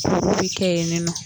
Olu bɛ kɛ yeninɔ.